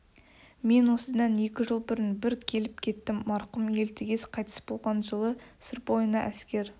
мен осыдан екі жыл бұрын бір келіп кеттім марқұм елтігез қайтыс болған жылы сыр бойына әскер